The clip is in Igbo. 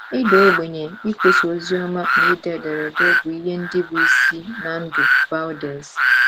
Ịda ogbenye, ikwusa oziọma, na ide ederede bụ ihe ndị bụ́ isi ná ndụ Vaudès.